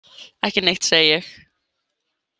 Ekki neitt, segi ég.